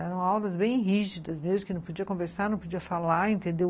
Eram aulas bem rígidas mesmo, que não podia conversar, não podia falar, entendeu?